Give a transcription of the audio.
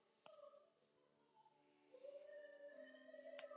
Hann hafði engan rétt á að tala um Margréti af slíkri léttúð.